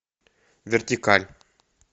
вертикаль